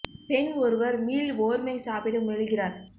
பெண் ஒருவர் மீள் வோர்மை சாப்பிட முயல்கிறார்